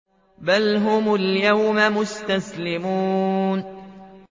بَلْ هُمُ الْيَوْمَ مُسْتَسْلِمُونَ